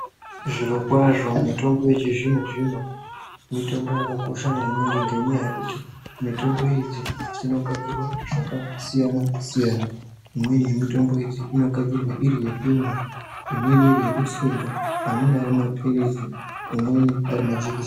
Zvirokwazvo mitombo yechizvino zvino mitombo yakakosha maningi ngenyaya yekuti mitombo idzi dzinogadzirwa zvakasiyana siyana imweni yamitombo idzi inogadzirwa iri yekumwa imweni iro yekutsenga , amweni arimaphirizi amweni arimajekiseni.